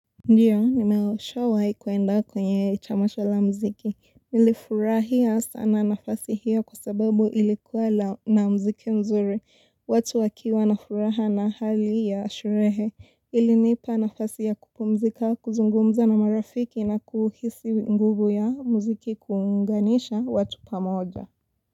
Ndiyo, nimeshawahi kuenda kwenye tamasha la mziki. Nilifurahia sana nafasi hiyo kwa sababu ilikuwa na mziki mzuri. Watu wakiwa nafuraha na hali ya sherehe. Ilinipa nafasi ya kupumzika, kuzungumza na marafiki na kuhisi nguvu ya mziki kuinganisha watu pamoja.